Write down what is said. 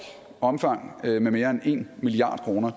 omfang med mere end en milliard kroner